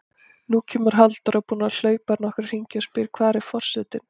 Nú kemur Halldóra, búin að hlaupa nokkra hringi, og spyr: Hvar er forsetinn?